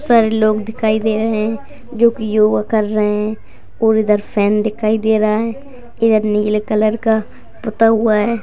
सभी लोग दिखाई दे रहे है जो की योग कर रहे है यह एक सन दिखाई दे रहा है जो की नीले कलर का कटा हुआ है।